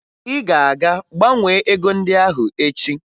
Ị ga-aga gbanwee ego ndị ahụ echi!